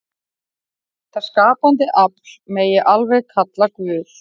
Þetta skapandi afl megi alveg kalla Guð.